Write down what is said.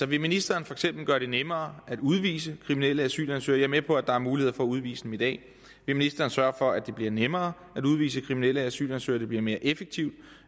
vil ministeren for eksempel gøre det nemmere at udvise kriminelle asylansøgere med på at der er muligheder for at udvise dem i dag vil ministeren sørge for at det bliver nemmere at udvise kriminelle asylansøgere kan blive mere effektivt